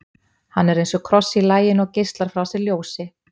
Hann er eins og kross í laginu og geislar frá sér ljósi.